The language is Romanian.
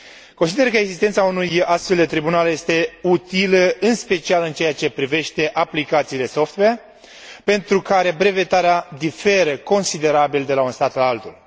Consider că existența unui astfel de tribunal este utilă în special în ceea ce privește aplicațiile software, pentru care brevetarea diferă considerabil de la un stat la altul.